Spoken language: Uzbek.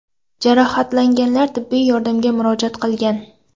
Jarohatlanganlar tibbiy yordamga murojaat qilgan.